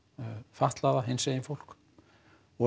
fatlaða hinsegin fólk og